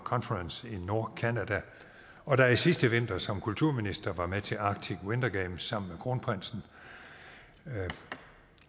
conference i nordcanada og da jeg sidste vinter som kulturminister var med til arctic winter games sammen med kronprinsen